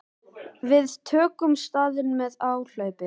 Við tökum staðinn með áhlaupi.